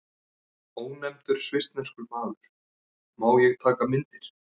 Ónefndur svissneskur maður: Má ég taka myndir?